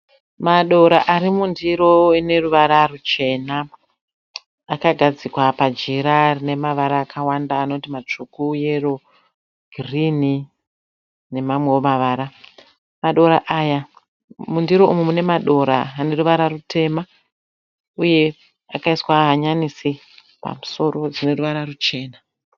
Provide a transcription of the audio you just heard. Madora arimundiro ineruvara ruchena. Akagadzikwa pajira rine mavara akawanda anoti matsvuku, yero, girinhi nemamwewo mavara. Mundiro umu mune madora aneruvara rutema uye akaiswa hanyanisi pamusoro dzineruvara ruchena.